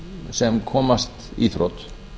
sem komast í þrot